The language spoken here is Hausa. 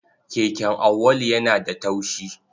Keken Auwalu yana da taushi.